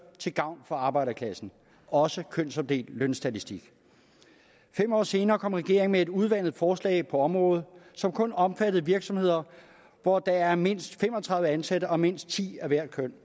til gavn for arbejderklassen også kønsopdelt lønstatistik fem år senere kom regeringen med et udvandet forslag på området som kun omfattede virksomheder hvor der er mindst fem og tredive ansatte og mindst ti af hvert køn